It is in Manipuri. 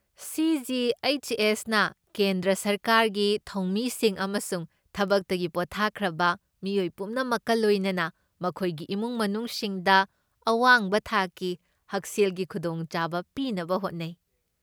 ꯁꯤ.ꯖꯤ.ꯑꯩꯆ.ꯑꯦꯁ.ꯅ ꯀꯦꯟꯗ꯭ꯔ ꯁꯔꯀꯥꯔꯒꯤ ꯊꯧꯃꯤꯁꯤꯡ ꯑꯃꯁꯨꯡ ꯊꯕꯛꯇꯒꯤ ꯄꯣꯊꯥꯈ꯭ꯔꯕ ꯃꯤꯑꯣꯏ ꯄꯨꯝꯅꯃꯛꯀ ꯂꯣꯏꯅꯅ ꯃꯈꯣꯏꯒꯤ ꯏꯃꯨꯡ ꯃꯅꯨꯡꯁꯤꯡꯗ ꯑꯋꯥꯡꯕ ꯊꯥꯛꯀꯤ ꯍꯛꯁꯦꯜꯒꯤ ꯈꯨꯗꯣꯡꯆꯥꯕ ꯄꯤꯅꯕ ꯍꯣꯠꯅꯩ꯫